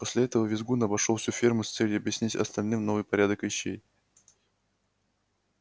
после этого визгун обошёл всю ферму с целью объяснить остальным новый порядок вещей